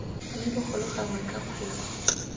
mme bogolo gangwe ka kgwedi